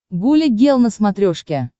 гуля гел на смотрешке